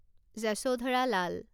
Yashodhara Lal